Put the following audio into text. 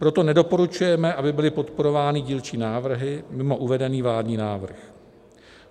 Proto nedoporučujeme, aby byly podporovány dílčí návrhy mimo uvedený vládní návrh.